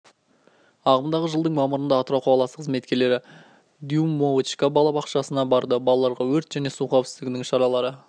ағымдағы жылдың мамырында атырау қаласы қызметкерлері дюймовочка бала бақшасына барды балаларға өрт және су қауіпсіздігінің шаралары